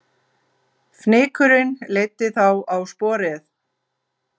Fnykurinn leiddi þá á sporið